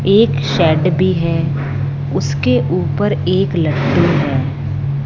एक शेड भी है उसके ऊपर एक लट्टू है।